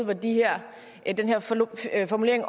der er kommet en